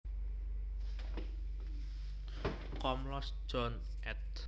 Komlos John ed